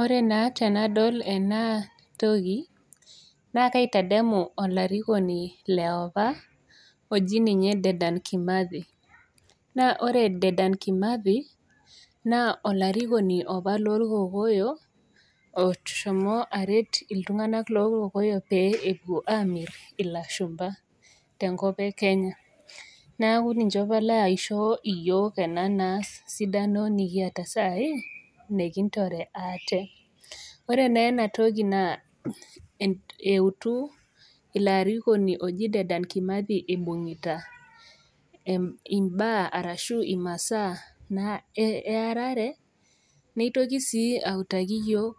Ore naa tenadol ena toki naa kaitadamu olarikoni leopa oji ninye Dedan kimathi naa ore Dedan kimathi naa olarikoni opa lorkokoyo oshomo aret iltung'anak lorkokoyo pee epuo amirr ilashumpa tenkop e kenya neeku ninche apa laisho iyiok ena sidano nikiata sai nikintore ate ore neena toki naa eh eutu ilo arikoni oji Dedan kimathi ibung'ita em imbaa arashu imasaa naa earare neitoki sii autaki iyiok